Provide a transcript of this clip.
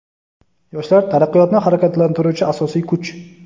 Yoshlar – taraqqiyotni harakatlantiruvchi asosiy kuch.